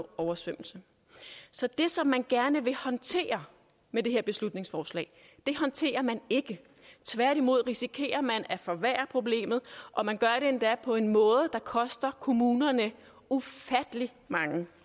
oversvømmelse så det som man gerne vil håndtere med det her beslutningsforslag håndterer man ikke tværtimod risikerer man at forværre problemet og man gør det endda på en måde der koster kommunerne ufattelig mange